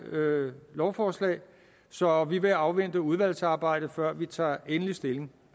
lovforslag så vi vil afvente udvalgsarbejdet før vi tager endelig stilling